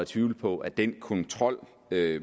tvivle på at den kontrol